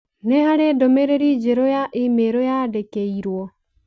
Nĩ harĩ ndũmĩrĩri njerũ ya i-mīrū yandĩkĩirũo.